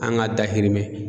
An ka dahirimɛ